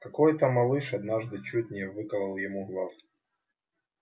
какой то малыш однажды чуть не выколол ему глаз